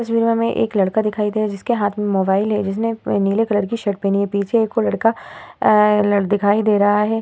इस में एक लड़का दिखाई दे रहा है जिसके हाथ में मोबाइल है जिसने नीले कलर की शर्ट पहनी है। पीछे एक और लड़का अ दिखाई दे रहा है।